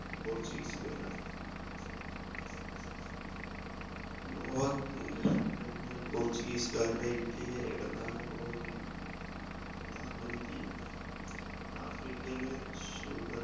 portuguese കാരാണ് ഗോവ ഏർ കഴിഞ്ഞാൽ portuguese കാരുടെ ഇന്ത്യയിലെ പ്രധാന colony ആണ് dam and deu ആഫ്രിക്കയിലെ